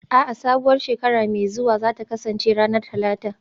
A'a, sabuwar shekara mai zuwa za ta kasance ranar Talata